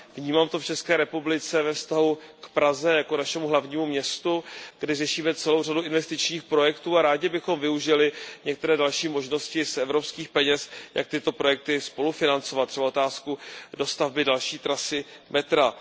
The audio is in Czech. Vnímám to v České republice ve vztahu k Praze jako našemu hlavnímu městu, kdy řešíme celou řadu investičních projektů a rádi bychom využili některé další možnosti z evropských peněz, jak tyto projekty spolufinancovat, třeba otázku dostavby další trasy metra.